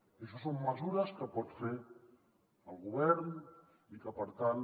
i això són mesures que pot fer el govern i que per tant